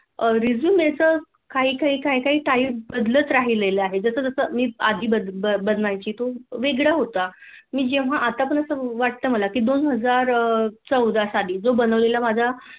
Resume च काही काही काही बदलत राहीलल आहे. जस जस मी आधी बनवायची तो वेगळं होता. मी जेव्हा आता पण मला असं वाटत दोन हजार चौदा साली जो बनवलेला माझा